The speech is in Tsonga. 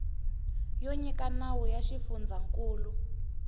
yo nyika nawu ya xifundzankulu